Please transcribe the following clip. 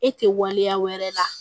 E tɛ waleya wɛrɛ la